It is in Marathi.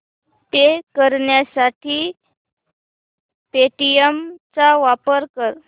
पे करण्यासाठी पेटीएम चा वापर कर